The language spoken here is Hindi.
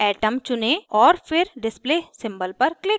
atom चुनें और फिर display symbol पर click करें